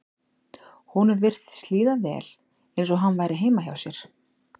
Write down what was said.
Honum virtist líða vel eins og hann væri heima hjá sér.